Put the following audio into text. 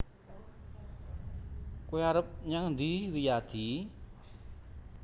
Kowe arep nyang endi Wiyadi